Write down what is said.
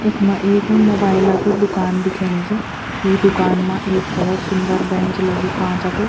इखमा एक मोबाइल क की दूकान दिखेणी च यी दूकान मा एक भोत सुन्दर बेंच लग्युं कांच क।